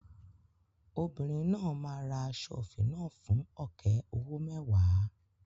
Obìnrin náà máa ra aṣọ òfì náà fún ọ̀kẹ́ owó mẹ́wàá.